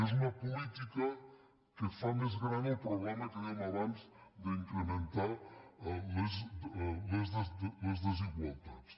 és una política que fa més gran el problema que dèiem abans d’incrementar les desigualtats